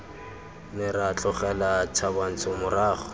ne ra tlogela thabantsho morago